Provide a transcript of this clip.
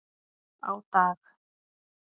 Á dag